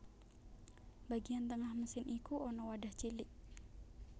Bagian tengah mesin iku ana wadah cilik